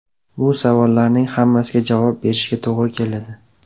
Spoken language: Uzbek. Bu savollarning hammasiga javob berishga to‘g‘ri keladi.